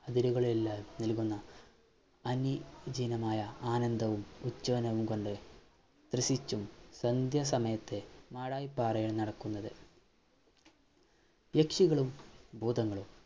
അതിരുകളില്ല നൽകുന്ന അനി ജിനമായ ആനന്ദവും ഉം കൊണ്ട് രസിച്ചും സന്ധ്യ സമയത്തെ മാടായി പാറയിൽ നടക്കുന്നത് യക്ഷികളും ഭൂതങ്ങളും